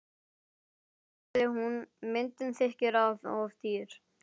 Þá sagði hún: Myndin þykir of dýr.